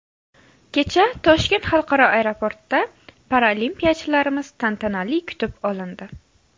Kecha Toshkent xalqaro aeroportida paralimpiyachilarimiz tantanali kutib olindi.